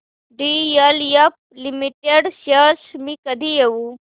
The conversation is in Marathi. डीएलएफ लिमिटेड शेअर्स मी कधी घेऊ